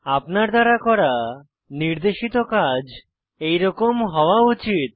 আপনার দ্বারা করা নির্দেশিত কাজ এরকম হওয়া উচিত